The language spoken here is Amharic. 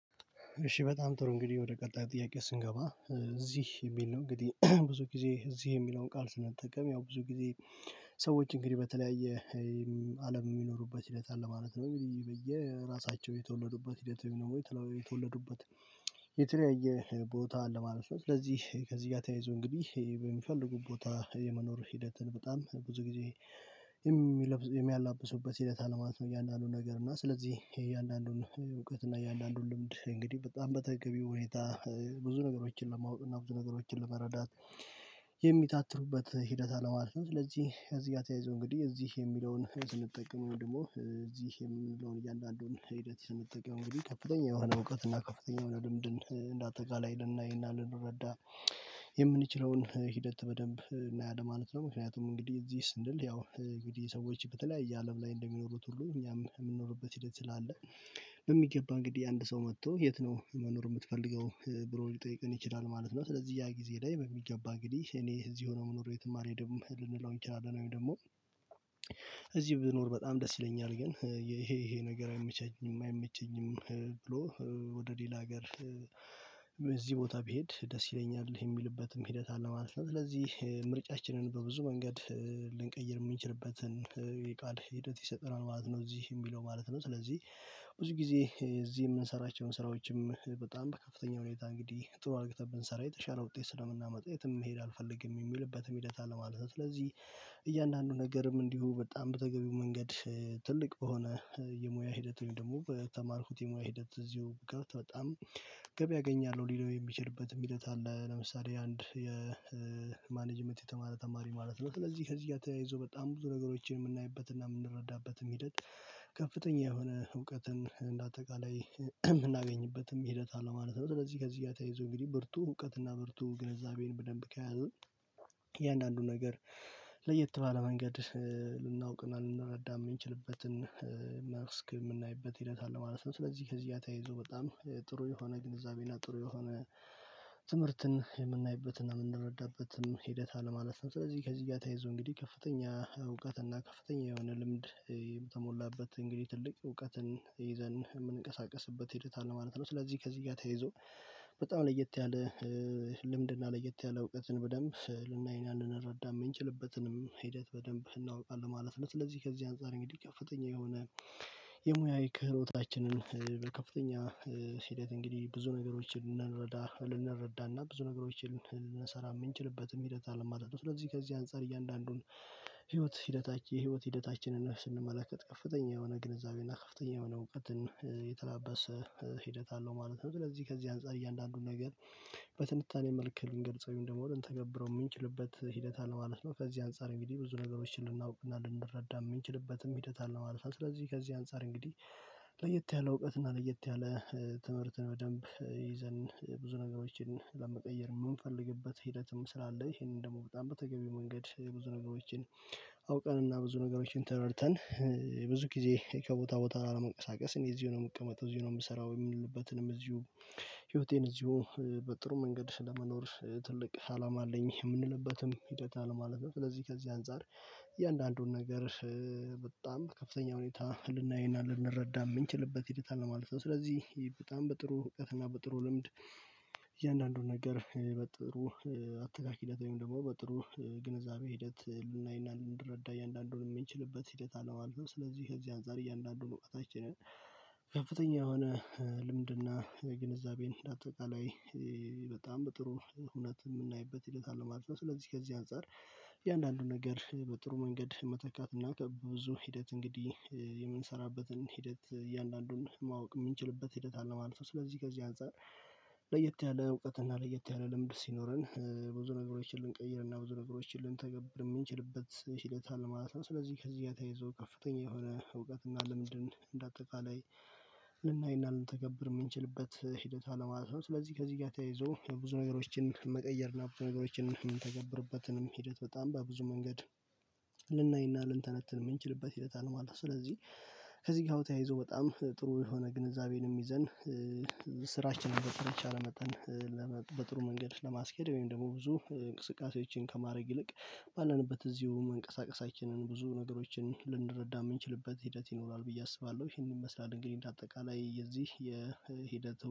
እሺ በጣም ጥሩ እንግዲህ ወደ ቀጣይ ጥያቄ ስንገባ እዚህ የሚል ነው እንግዲህ ብዙ ጊዜ እዚህ የሚለውን ቃል ስንጠቀም ያው ብዙ ጊዜ ሰዎች እንግዲህ በተለያየ አለም የሚኖሩበት ሂደት አለ ማለት ነው። በየራሳቸው የተወለዱበት ሂደት ወይም ደግሞ ተለው የተወለዱበት የተለያየ ቦታ አለ ማለት ነው። ስለዚህ ከዚህ ጋር ተያይዞ እንግዲህ በሚፈልጉ ቦታ የመኖር ሂደትን በጣም ብዙ ጊዜ የሚለብሱ የሚያላብሱበት ሂደት አለማለት ነው። እያንዳንዱ ነገር እና ስለዚህ የእያንዳንዱን እውቀት እና የአንዳንዱን ልምድ እንግዲህ በጣም በተገቢው ሁኔታ ብዙ ነገሮችን በማወቅ እና ብዙ ነገሮችን ለመረዳት የሚታተሩበት ሂደት አለ ማለት ነው። ስለዚህ እዚህ ጋር ተያይዞ እንግዲህ እዚህ የሚለውን ስንጠቀመው ደግሞ እዚህ የምንለውን እያንዳንዱን ሂደት የምንጠቀመው ግን ከፍተኛ የሆነ እውቀት እና ከፍተኛ የሆነ ልምድን እንዳጠቃላይ ልናይ እና ልንረዳ የምንችለውን ሂደት በደንብ እናያለን ማለት ነው። ምክንያቱም እንግዲህ እዚህ ስንል ያው እንግዲህ ሰዎች በተለያየ አለም ላይ እንደሚኖሩት ሁሉ እኛም የምንኖርበት ሂደት ስላለ በሚገባ እንግዲህ አንድ ሰው መጥቶ የት ነው መኖር የምትፈልገው ብሎ ሊጠይቀን ይችላል ማለት ነው። ስለዚህ ያ ጊዜ ላይ በሚገባ እንግዲህ እኔ እዚሁ ነው ምኖረው የትም አልሄድም ልንለው እንችላለን ወይም ደግሞ እዚህ ብኖር በጣም ደስ ይለኛል ግን ይሄ ይሄ ነገር አይመቻም አይመቸኝም ብሎ ወደ ሌላ ሀገር እዚህ ቦታ ብሄድ ደስ ይለኛል የሚልበትም ሂደት አለ ማለት ነው። ስለዚህ ምርጫችንን በብዙ መንገድ ልንቀይር የምንችልበትን የቃል ሂደት ይሰጠናል ማለት ነው እዚህ የሚለው ማለት ነው። ስለዚህ ብዙ ጊዜ እዚህ የምንሰራቸውን ስራዎችም በጣም በከፍተኛ ሁኔታ እንግዲህ ጥሩ አድርግተን ብንሰራ የተሻለ ውጤት ስለምናመጣ የትም መሄድ አልፈልግም የሚልበትም ሂደት አለ ማለት ነው። ስለዚህ እያንዳንዱ ነገርም እንዲሁ በጣም በተገቢው መንገድ ትልቅ በሆነ የሙያ ሂደት ወይም ደግሞ በተማርኩት የሙያ ሂደት እዚሁ ብቀር በጣም ገበያ እገኛለሁ ሊለው የሚችልበት ሂደት አለ። ለምሳሌ አንድ የማኔጅመንት የተማረ ተማሪ ማለት ነው ስለዚህ ከዚህ ጋ ተያይዞ በጣም ብዙ ነገሮችን የምናይበትና የምንረዳበትም ሂደት ከፍተኛ የሆነ እውቀትን እንደ አጠቃላይ የምናገኝበትም ሂደት አለ ማለት ነው። ስለዚህ ከዚህ ጋ ተያይዞ እንግዲህ ብርቱ እውቀት እና ብርቱ ግንዛቤን በደንብ ከያዝን እያንዳንዱ ነገር ለየት ባለ መንገድ ልናውቅና ልንረዳ የምንችልበትን መስክ የምናይበት ሂደት አለ ማለት ነው። ስለዚህ ከዚህ ጋ ተያይዞ በጣም ጥሩ የሆነ ግንዛቤና ጥሩ የሆነ ትምህርትን የምናይበትና የምንረዳበትም ሂደት አለ ማለት። ስለዚህ ከዚህ ጋር ተያይዞ እንግዲህ ከፍተኛ እውቀት እና ከፍተኛ የሆነ ልምድ የተሞላበት እንግዲህ ትልቅ እውቀትን ይዘን የምንቀሳቀስበት ሄደት አለ ማለት ነው። ስለዚህ ከዚህ ጋር ተይዞ በጣም ለየት ያለ ልምድና ለየት ያለ እውቀትን በደንብ ልናይና ልንረዳ የምንችልበትንም ሂደት በደንብ እናውቃለን ማለት ነው። ስለዚህ ከዚህ አንፃር እንግዲህ ከፍተኛ የሆነ የሙያ የክህሎታችንን ከፍተኛ ሂደት እንግዲህ ብዙ ነገሮችን ልንረዳ ልንረዳና ብዙ ነገሮችን ልንሰራ የምንችልበትም ሂደት አለም ማለት ነው። ስለዚህ ከዚህ አንፃር እያንዳንዱን ህይወት ሂደታችን የህይወት ሂደታችንን ስንመለከት ከፍተኛ የሆነ ግንዛቤ እና ከፍተኛ የሆነ እውቀትን የተላበሰ ሂደት አለው ማለት ነው። ስለዚህ ከዚህ አንፃር እያንዳንዱን ነገር በትንታኔ መልክ ልንገልጸው ወይም ደግሞ ልንተገብረው የምንችልበት ሂደት አለ ማለት ነው። ከዚህ አንፃር እንግዲህ ብዙ ነገሮችን ልናውቅ እና ልንረዳ የምንችልበትም ሂደት አለ ማለት ነው። ስለዚህ ከዚህ አንፃር እንግዲህ ለየት ያለ እውቀት እና ለየት ያለ ትምህርትን በደንብ ይዘን ብዙ ነገሮችን ለመቀየር የምንፈልግበት ሂደትም ስላለ ይሄንን ደግሞ በጣም በተገቢው መንገድ ብዙ ነገሮችን አውቀንና ብዙ ነገሮችን ተረድተን ብዙ ጊዜ ከቦታ ቦታ ላለመንቀሳቀስ እኔ እዚሁ ነው የምቀመጠው፣ እዚሁ ነው የምሰራው የሚልበትንም እዚሁ ህይወቴን እዚሁ በጥሩ መንገድ ስለመኖር ትልቅ አላም አለኝ የምንልበትም ሂደት አለ ማለት ነው። ስለዚህ ከዚህ አንፃር እያንዳንዱን ነገር በጣም ከፍተኛ ሁኔታ ልናይና ልንረዳ የምንችልበት ሂደት አለ ማለት ነው። ስለዚህ በጣም በጥሩ እውቀትና በጥሩ ልምድ እያንዳንዱን ነገር በጥሩ አተካክ ሂደት ወይም ደግሞ በጥሩ ግንዛቤ ሂደት ልናይና ልንረዳ እያንዳንዱን የምንችልበት ሂደት አለ ማለት ነው። ስለዚህ ከዚህ አንፃር እያንዳንዱን እውቀታችንን ከፍተኛ የሆነ ልምድና ግንዛቤን እንደ አጠቃላይ በጣም በጥሩ እውነት የምናይበት ሂደት አለ ማለት ነው። ስለዚህ ከዚህ አንፃር እያንዳንዱን ነገር በጥሩ መንገድ መተካት እና ከብዙ ሂደት እንግዲህ የምንሰራበትን ሂደት እያንዳንዱን ማወቅ የምንችልበት ሂደት አለ ማለት ነው። ስለዚህ ከዚህ አንፃር ለየት ያለ እውቀትና ለየት ያለ ልምድ ሲኖረን ብዙ ነገሮችን ልንቀይርና ብዙ ነገሮችን ልንተገብር የምንችልበት ሂደት አለ ማለት ነው። ስለዚህ ከዚህ ጋር ተይዞ ከፍተኛ የሆነ እውቀትና ልምድን እንደ አጠቃላይ ልናይና ልንተገብር የምንችልበት ሂደት አለማለት ነው። ስለዚህ ከዚህ ጋር ተያይዞ ብዙ ነገሮችን መቀየር እና ብዙ ነገሮችን የምንተገብርበትንም ሂደት በጣም በብዙ መንገድ ልናይና ልንተነትን የምንችልበት ሂደት አለ ማለት ነው። ስለዚህ ከዚህ ጋር ተያይዞ በጣም ጥሩ የሆነ ግንዛቤንም ይዘን ስራችንን በተቻለ መጠን ለመ በጥሩ መንገድ ለማስኬድ ወይም ደግሞ ብዙ እንቅስቃሴዎችን ከማድረግ ይልቅ ባለንበት እዚሁ መንቀሳቀሳችንን ብዙ ነገሮችን ልንረዳ የምንችልበት ሂደት ይኖራል ብዬ አስባለሁ ይሄንን መስራት እንግዲህ እንደ አጠቃላይ የዚህ የሂደት